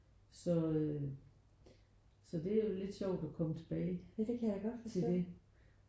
Så øh så det er jo lidt sjovt at komme tilbage til det